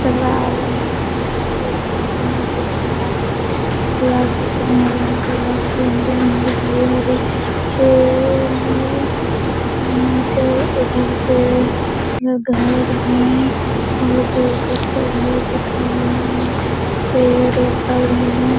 चला आवे है और यहां पर पानी दिख रहा है। तालाब के किनारे बहुत लंबे-लंबे हरे-हरे पेड़ है और यहां पर उधर घर है और दूर-दूर तक घर दिख रहा है। पेड़ लगल है।